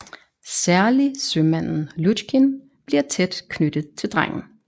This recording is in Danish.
Særlig sømanden Lutjkin bliver tæt knyttet til drengen